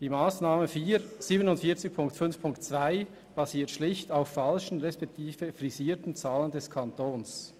Die Massnahme 47.5.2 basiert schlicht auf falschen respektive frisierten Zahlen des Kantons.